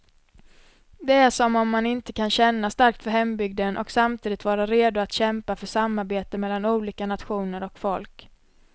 Det är som om man inte kan känna starkt för hembygden och samtidigt vara redo att kämpa för samarbete mellan olika nationer och folk.